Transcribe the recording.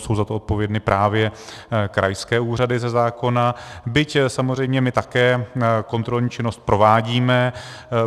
Jsou za to odpovědny právě krajské úřady ze zákona, byť samozřejmě my také kontrolní činnost provádíme.